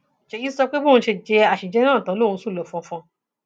ṣéyí sọ pé bóun ṣe jẹ àṣejẹ náà tán lòún sùn lọ fọnfọn